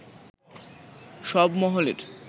সব মহলের